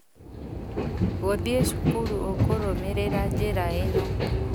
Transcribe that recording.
Gũthiĩ cukuru ũkũrũmĩrĩra njĩra ĩno?